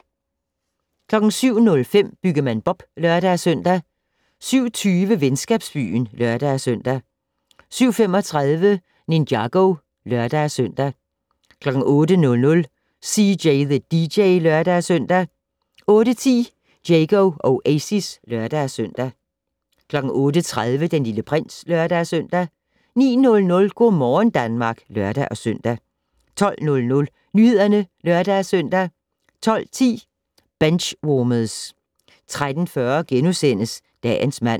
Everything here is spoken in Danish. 07:05: Byggemand Bob (lør-søn) 07:20: Venskabsbyen (lør-søn) 07:35: Ninjago (lør-søn) 08:00: CJ the DJ (lør-søn) 08:10: Diego Oasis (lør-søn) 08:30: Den Lille Prins (lør-søn) 09:00: Go' morgen Danmark (lør-søn) 12:00: Nyhederne (lør-søn) 12:10: Benchwarmers 13:40: Dagens mand *